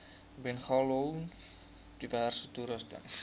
bungalows diverse toerusting